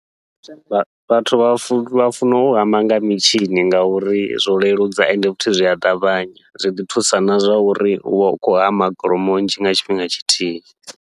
Vha vhathu vha funa vha funa u hama nga mitshini, ngauri zwo leludza ende futhi zwi a ṱavhanya zwi ḓi thusa na zwauri uvha u khou hama kholomo nnzhi nga tshifhinga tshithihi.